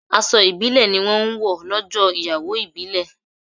Aṣọ ibile ni wọn máa ń wọ lọ́jọ́ ìyàwó ìbílè